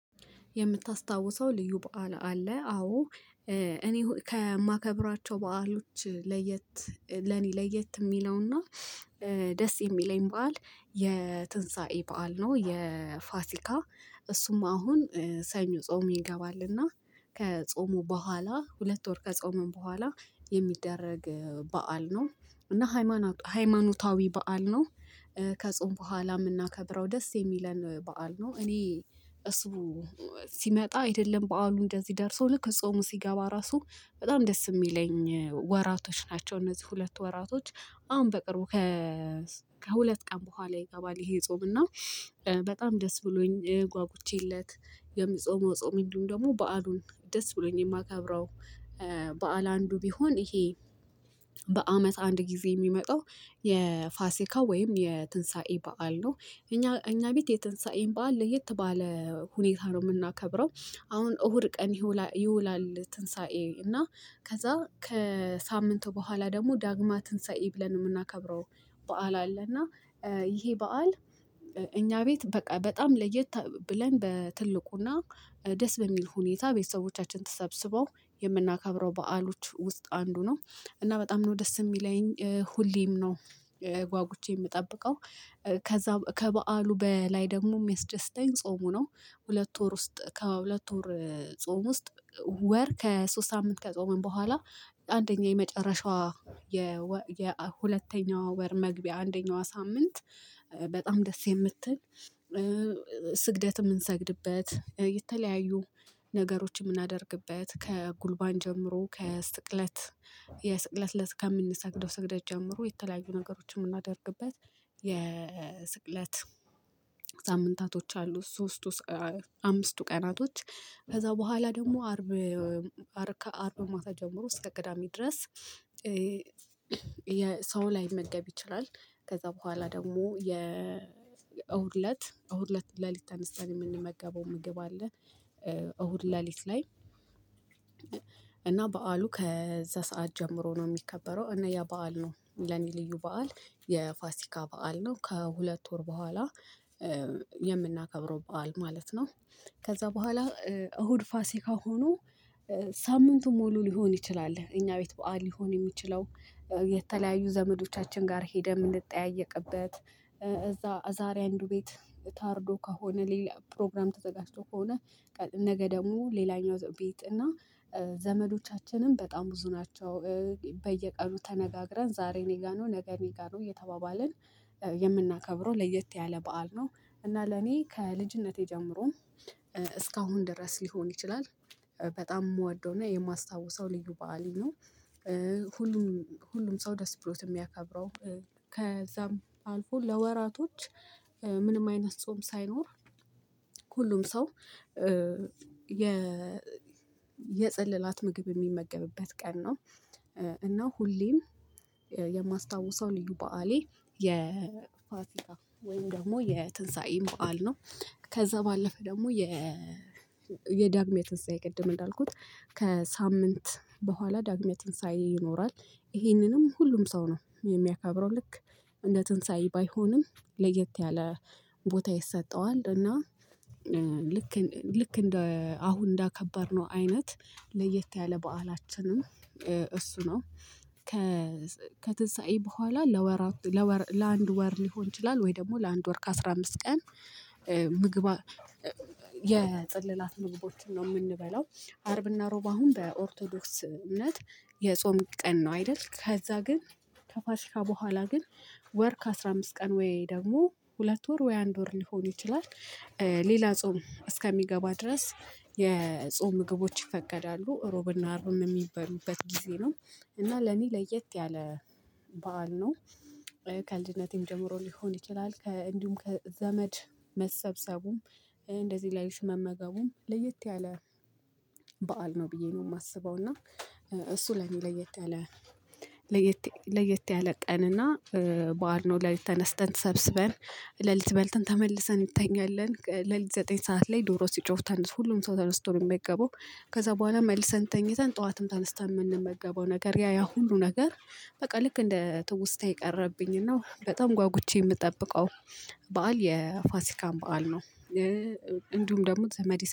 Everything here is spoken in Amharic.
የምታስታውሰው ልዩ በዓል አለ? አዎ እኔ ከማከብራቸው በዓሎች ለየት ለኔ ለየት የሚለውና ደስ የሚለኝ በዓል የትንሳኤ በዓል ነው የፋሲካ እሱም አሁን ሰኞ ጾም ይገባልና ከጾሙ በኋላ ሁለት ወር ከጾምም በኋላ የሚደረግ በዓል ነው እና ሃይማኖታዊ በዓል ነው ከጾም በኋላ የምናከብረው ደስ የሚለን በዓል ነው እኔ እሱ ሲመጣ አይደለም በዓሉ እንደዚህ ደርሶ ልክ ጾሙ ሲገባ ራሱ በጣም ደስ የሚለኝ ወራቶች ናቸው እነዚህ ሁለት ወራቶች አሁን በቅርቡ ከሁለት ቀን በኋላ ይገባል ይሄ ጾም እና በጣም ደስ ብሎኝ ጓጉቼለት የምጾመው ጾም የለውም ደግሞ በዓሉን ደስ ብሎኝ የማከብረው በዓል አንዱ ቢሆን ይሄ በአመት አንድ ጊዜ የሚመጣው የፋሲካ ወይም የትንሳኤ በዓል ነው እኛ እኛ ቤት የትንሳኤን በዓል ለየት ባለ ሁኔታ ነው የምናከብረው አሁን እሁድ ቀን ይውላል ትንሳኤ እና ከዛ ከሳምንቱ በኋላ ደግሞ ዳግማ ዳግማ ትንሳኤ ብለን የምናከብረው በዓል አለ እና ይሄ በዓል እኛ ቤት በቃ በጣም ለየት ብለን በትልቁና ደስ በሚል ሁኔታ ቤተሰቦቻችን ተሰብስበው የምናከብረው በዓሎች ውስጥ አንዱ ነው እና በጣም ነው ደስ የሚለኝ ሁሌም ነው። ጓጉቼ የምጠብቀው ከዛ ከበዓሉ በላይ ደግሞ የሚያስደስደኝ ጾሙ ነው ሁለት ወር ውስጥ ከሁለት ወር ጾም ውስጥ ወር ከሶስት አመት ከጾመን በኋላ አንደኛ የመጨረሻዋ የሁለተኛው ወር መግቢያ አንደኛው ሳምንት በጣም ደስ የምትል ስግደት የምንሰግድበት የተለያዩ ነገሮች የምናደርግበት ከጉልባን ጀምሮ ከስቅለት የስቅለት ለት ከምንሰግደው ስግደት ጀምሮ የተለያዩ ነገሮችን የምናደርግበት የስቅለት ሳምንታቶች አሉ ሶስቱ አምስቱ ቀናቶች ከዛ በኋላ ደግሞ አርብ ከ አርብ ማታ ጀምሮ እስከ ቅዳሜ ድረስ የሰው ላይመገብ ይችላል ከዛ በኋላ ደግሞ የእሁድ እለት እሁድ እለት ሌሊት ተነስተን የምንመገበው ምግብ አለ። እሁድ ሌሊት ላይ እና በዓሉ ከዛ ሰዓት ጀምሮ ነው የሚከበረው እና ያ በዓል ነው ለኔ ልዩ በዓል የፋሲካ በዓል ነው ከሁለት ወር በኋላ። የምናከብረው በዓል ማለት ነው። ከዛ በኋላ እሁድ ፋሲካ ሆኖ ሳምንቱን ሙሉ ሊሆን ይችላል እኛ ቤት በዓል ሊሆን የሚችለው የተለያዩ ዘመዶቻችን ጋር ሄደን የምንጠያየቅበት እዛ ዛሬ አንዱ ቤት ታርዶ ከሆነ ሌላ ፕሮግራም ተዘጋጅቶ ከሆነ ነገ ደግሞ ሌላኛው ቤት እና ዘመዶቻችንም በጣም ብዙ ናቸው በየቀኑ ተነጋግረን ዛሬ እኔ ጋር ነው ነገ እኔ ጋር ነው እየተባባልን የምናከብረው ለየት ያለ በዓል ነው እና ለኔ ከልጅነቴ ጀምሮም እስካሁን ድረስ ሊሆን ይችላል በጣም የምወደውና የማስታውሰው ልዩ በዓሌ ነው ሁሉም ሁሉም ሰው ደስ ብሎት የሚያከብረው ከዛም አልፎ ለወራቶች ምንም አይነት ጾም ሳይኖር ሁሉም ሰው የ የጸለላት ምግብ የሚመገብበት ቀን ነው። እና ሁሌም የማስታውሰው ልዩ በዓሌ የፋሲካ ወይም ደግሞ የትንሳኤ በዓል ነው። ከዛ ባለፈ ደግሞ የ የዳግመ ትንሳኤ ቅድም እንዳልኩት ከሳምንት በኋላ ዳግሜ ትንሳኤ ይኖራል ይሄንንም ሁሉም ሰው ነው የሚያከብረው ልክ እንደ ትንሳኤ ባይሆንም ለየት ያለ ቦታ ይሰጠዋል እና ልክ እንደ አሁን እንዳከበርነው አይነት ለየት ያለ በዓላችንም እሱ ነው። ከትንሳኤ በኋላ ለወራት ለአንድ ወር ሊሆን ይችላል ወይ ደግሞ ላንድ ወር ከአሥራ አምስት ቀን ምግብ የፅላላት ምግቦችን ነው የምንበለው አርብና ሮብ አሁን በኦርቶዶክስ እምነት የጾም ቀን ነው አይደል ከዛ ግን ከፋሽካ በኋላ ግን ወር ከአሥራ አምስት ቀን ወይ ደግሞ ሁለት ወር ወይ አንድ ወር ሊሆን ይችላል ሌላ ጾም እስከሚገባ ድረስ የጾም ምግቦች ይፈቀዳሉ ሮብና አርብም የሚበሉበት ጊዜ ነው እና ለኔ ለየት ያለ በዓል ነው። ከልጅነቴም ጀምሮ ሊሆን ይችላል እንዲሁም ከዘመድ መሰብሰቡም እንደዚህ ላይ ሽመመገቡም ለየት ያለ በዓል ነው ብዬ ነው የማስበው እና እሱ ለኔ ለየት ያለ ለየት ለየት ያለ ቀንና በዓል ነው ለሊት ተነስተን ተሰብስበን ለሊት በልተን ተመልሰን እንተኛለን ለሊት ለዘጠኝ ሰዓት ላይ ዶሮ ሲጮህ ተነስቶ ሁሉም ሰው ተነስቶ ነው የሚገባው ከዛ በኋላ መልሰን ተኝተን ጠዋትም ተነስተን የምንመገበው ነገር ያ ያ ሁሉ ነገር በቃ ልክ እንደ ትውስታ የቀረብኝና በጣም ጓጉቼ የምጠብቀው በዓል የፋሲካን በዓል ነው እንዲሁም ደግሞ ዘመዲስ